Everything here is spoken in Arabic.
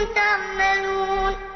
تَعْمَلُونَ